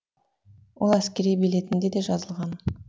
ол әскери билетінде де жазылған